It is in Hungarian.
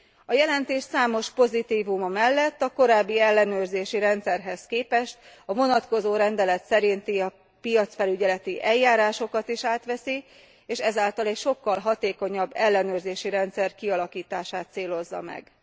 A jelentés számos pozitívuma mellett a korábbi ellenőrzési rendszerhez képest a vonatkozó rendelet szerinti piacfelügyeleti eljárásokat is átveszi, és ezáltal egy sokkal hatékonyabb ellenőrzési rendszer kialakítását célozza meg.